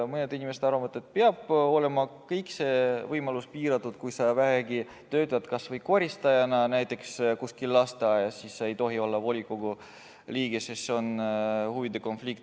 Mõned inimesed arvavad, et see võimalus peab olema piiratud, et kui sa töötad kas või koristajana kuskil lasteaias, siis sa ei tohi olla volikogu liige, sest siis on huvide konflikt.